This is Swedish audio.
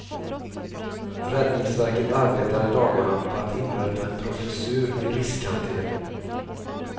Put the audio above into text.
Räddningsverket arbetar i dagarna på att inrätta en professur i riskhantering.